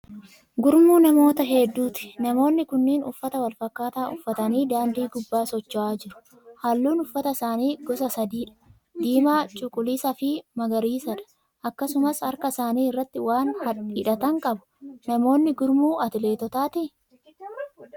Gurmuu namoota hedduuti. Namoonni kunniin uffata wal fakkaataa uffatanii daandii gubbaa socho'aa jiru. Halluun uffata isaanii gosa sadiidha; diimaa, cuquliisa fi magariisaadha. Akkasumas harka isaanii irratti waan hidhatan qabu. Namoonni kun gurmuu atileetotaati?